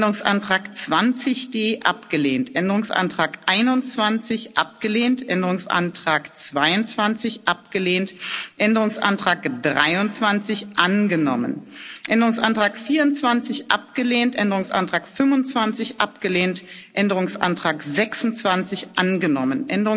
abgelehnt Änderungsantrag 20d abgelehnt Änderungsantrag 21 abgelehnt Änderungsantrag 22 abgelehnt Änderungsantrag 23 angenommen Änderungsantrag 24 abgelehnt Änderungsantrag 25 abgelehnt Änderungsantrag 26